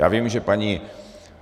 Já vím, že paní